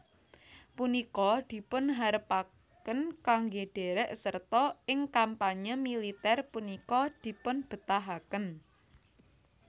Punika dipunharepken kangge derek serta ing kampanye militer punika dipunbetahaken